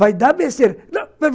Vai dar besteira!